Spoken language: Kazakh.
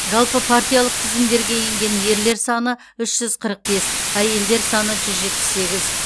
жалпы партиялық тізімдерге енген ерлер саны үш жүз қырық бес әйелдер саны жүз жетпіс сегіз